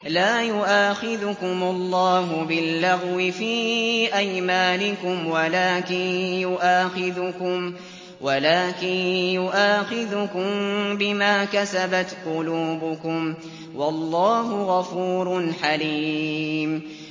لَّا يُؤَاخِذُكُمُ اللَّهُ بِاللَّغْوِ فِي أَيْمَانِكُمْ وَلَٰكِن يُؤَاخِذُكُم بِمَا كَسَبَتْ قُلُوبُكُمْ ۗ وَاللَّهُ غَفُورٌ حَلِيمٌ